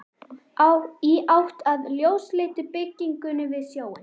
Í átt að ljósleitu byggingunni við sjóinn.